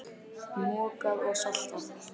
Mokað og saltað.